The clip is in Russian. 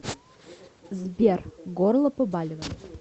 сбер горло побаливает